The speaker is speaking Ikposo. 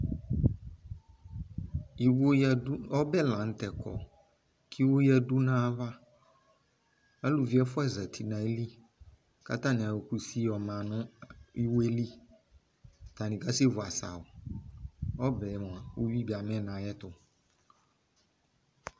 Iwo yadu, ɔbɛ lantɛ kɔ ko iwo yadu nava Aluvi ɛfua zati no ayili ko atane ayɔ kusi yɔ ma no iwoɛ li Atane kasɛ vu asawu Ɔbɛ moa uwi be amɛ no ayeto